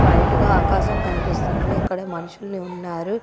White గా ఆకాశం కనిపిస్తుంది. అక్కడ మనుషులు ఉన్నారు.